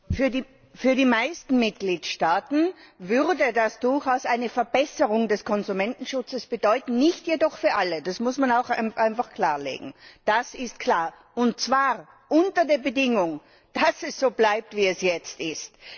Für die meisten Mitgliedstaaten würde das durchaus eine Verbesserung des Konsumentenschutzes bedeuten, nicht jedoch für alle das muss man auch einfach klarlegen, das ist klar und zwar unter der Bedingung, dass es so bleibt, wie es jetzt ist.